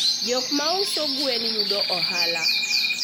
jok mauso gwen yudo ohala